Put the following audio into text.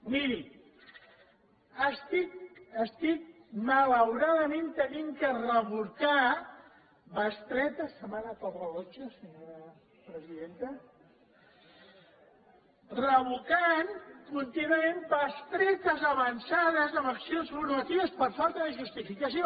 miri estic malauradament havent de revocar bestretes se me n’ha anat el rellotge senyora presidenta revocant contínuament bestretes avançades en accions formatives per falta de justificació